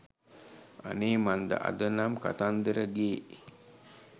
අනේ මන්ද අද නම් කතන්දරගේ